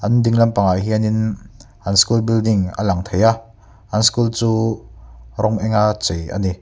an ding lampang ah hianin an school building a lang thei a an school chu rawng eng a chei ani.